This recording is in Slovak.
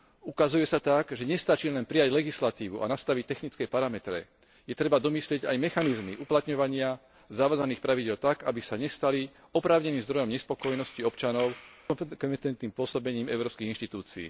Ukazuje sa tak, že nestačí len prijať legislatívu a nastaviť technické parametre, je treba domyslieť aj mechanizmy uplatňovania zavádzaných pravidiel tak, aby sa nestali oprávneným zdrojom nespokojnosti občanov s nekompetentným pôsobením európskych inštitúcií.